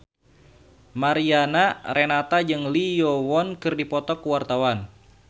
Mariana Renata jeung Lee Yo Won keur dipoto ku wartawan